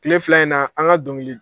Tile fila in na an ka dɔnkili.